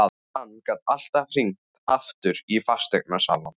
Hann gat alltaf hringt aftur í fasteignasalann.